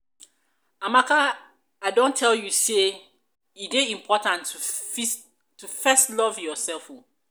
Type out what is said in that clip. amaka i don tell you sey e dey important to fest love yourself o.